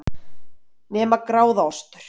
Nema gráðaostur,